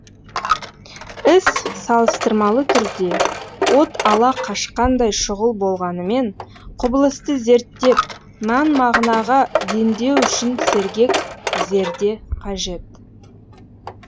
іс салыстырмалы түрде от ала қашқандай шұғыл болғанымен құбылысты зерттеп мән мағынаға дендеу үшін сергек зерде қажет